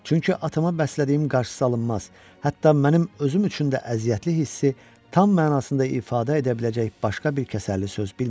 çünki atama bəslədiyim qarşısıalınmaz, hətta mənim özüm üçün də əziyyətli hissi tam mənasında ifadə edə biləcək başqa bir kəsərli söz bilmirəm.